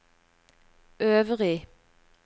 øvrig